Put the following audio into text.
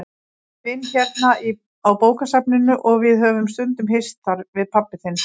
Ég vinn hérna á bókasafninu og við höfum stundum hist þar, við pabbi þinn.